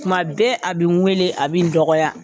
Tuma bɛɛ a bi n wele a bi n dɔgɔya.